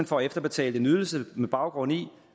får efterbetalt en ydelse med baggrund i